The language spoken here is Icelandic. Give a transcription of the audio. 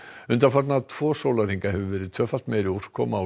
undanfarna tvo sólarhringa hefur verið tvöfalt meiri úrkoma á